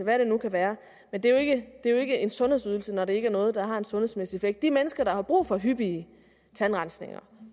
hvad det nu kan være men det er jo ikke en sundhedsydelse når det ikke er noget der har en sundhedsmæssig effekt de mennesker der har brug for hyppige tandrensninger